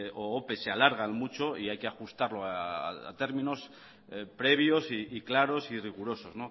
o opes se alargan mucho y hay que ajustarlo a términos previos y claros y rigurosos